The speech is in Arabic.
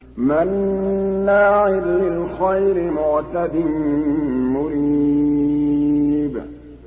مَّنَّاعٍ لِّلْخَيْرِ مُعْتَدٍ مُّرِيبٍ